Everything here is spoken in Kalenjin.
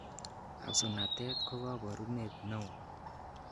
Absunatet ko koborunet nenayat.